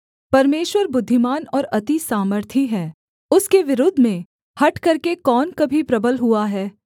परमेश्वर बुद्धिमान और अति सामर्थी है उसके विरोध में हठ करके कौन कभी प्रबल हुआ है